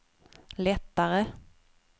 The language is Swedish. lättare